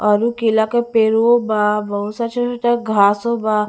और उ केला के पेडवो बा बहुत छोटा छोटा घासो बा--